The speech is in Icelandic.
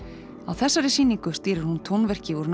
þessari sýningu stýrir hún tónverki úr